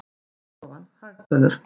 Hagstofan- hagtölur.